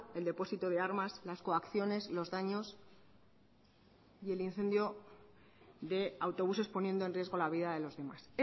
el depósito de armas las coacciones los daños y el incendio de autobuses poniendo en riesgo la vida de los demás